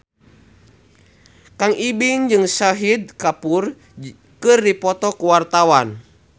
Kang Ibing jeung Shahid Kapoor keur dipoto ku wartawan